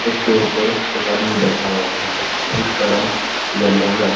उसके ऊपर एक आदमी बैठा हुआ है जिसका रंग येलो है।